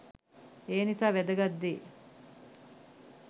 එනිසා වෑදගත් දේ